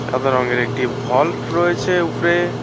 সাদা রঙের একটি ভল্ভ রয়েছে উপরে।